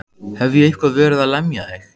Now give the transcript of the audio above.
Hef ég eitthvað verið að lemja þig?